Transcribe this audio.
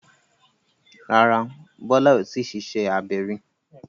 Rárá, Bólá ò tíì ṣiṣẹ́ abẹ rí.